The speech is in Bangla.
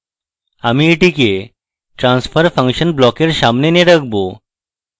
আমি এটিকে transfer function block এর সামনে এনে রাখবো